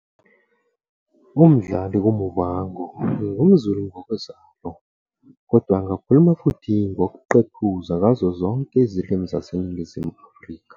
UMdali "kuMuvhango" ngum Zulu ngokozalo, kodwa angakhuluma futhi ngokuqephuza ngazo zonke izilimi zaseNingizimu Afrika.